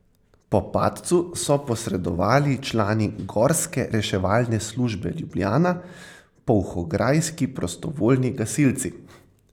Po padcu so posredovali člani gorske reševalne službe Ljubljana, polhograjski prostovoljni gasilci.